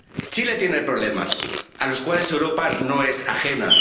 Chile tiene problemas a los cuales Europa no es ajena.